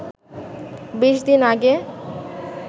২০ দিন আগে